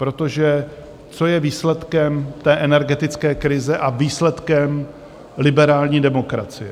Protože co je výsledkem té energetické krize a výsledkem liberální demokracie?